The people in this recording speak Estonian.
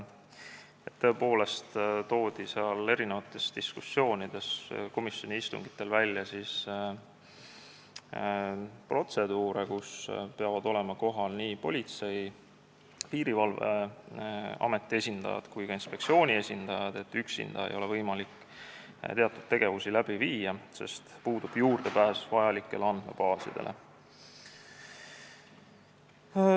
Tõepoolest toodi diskussioonides komisjoni istungitel näiteks protseduure, kus peavad olema kohal nii Politsei- ja Piirivalveameti esindajad kui ka inspektsiooni esindaja, üksinda ei ole tal võimalik teatud tegevusi läbi viia, sest puudub juurdepääs andmebaasidele.